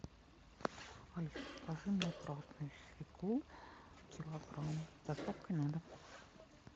алиса закажи мне красную свеклу килограмм с доставкой на дом